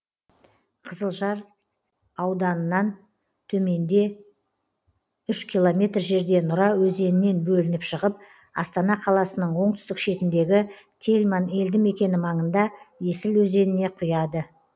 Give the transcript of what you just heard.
қызылжар ауданынан төменде үш километр жерде нұра өзенінен бөлініп шығып астана қ ның оңтүстік шетіндегі тельман елді мекені маңында есіл өзеніне құяды